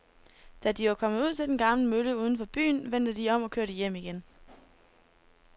Da de var kommet ud til den gamle mølle uden for byen, vendte de om og kørte hjem igen.